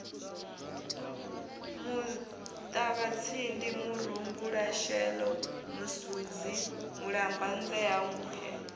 muṱavhatsindi murumbulasheḓo musunzi mulambadzea nkhwe